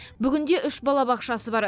бүгінде үш балабақшасы бар